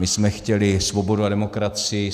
My jsme chtěli svobodu a demokracii.